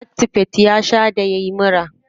Actifed ya sha da yayi mura.